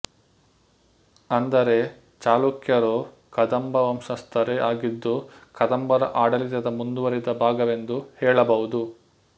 ಅಂದರೆ ಚಳುಕ್ಯರು ಕದಂಬ ವಂಶಸ್ಥರೇ ಆಗಿದ್ದು ಕದಂಬರ ಆಡಳಿತದ ಮುಂದುವರಿದ ಭಾಗವೆಂದು ಹೇಳಬಹುದು